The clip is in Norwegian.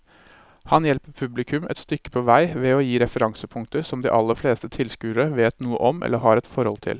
Han hjelper publikum et stykke på vei ved å gi referansepunkter som de aller fleste tilskuere vet noe om eller har et forhold til.